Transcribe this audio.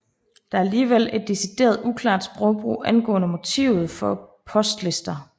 Der er alligevel et decideret uklart sprogbrug angående motivet for postlister